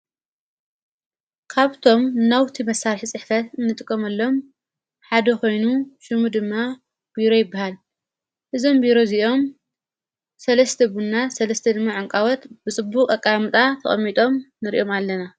ካብቶም ናውቲ መሣርሕ ጽሕፈት እንጥቆመሎም ሓደ ኾይኑ ሹሙ ድማ ቢሮ ኣይበሃል እዞም ብይሮ ዚኦም ሠለስቲ ቡና ሠለስተ ድማ ዐንቃወት ብጽቡ ቐቃ ምጣ ተቐሚጦም ንርኦም ኣለና።